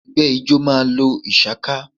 Ẹ̀gbẹ́ ijọ́ ma lo ìshaká